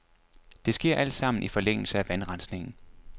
Det sker alt sammen i forlængelse af vandrensningen.